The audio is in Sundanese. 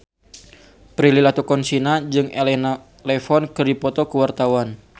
Prilly Latuconsina jeung Elena Levon keur dipoto ku wartawan